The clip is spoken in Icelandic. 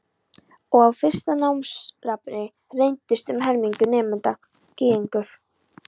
Og á fyrsta námsári reyndist um helmingur nemenda Gyðingar.